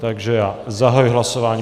Takže já zahajuji hlasování.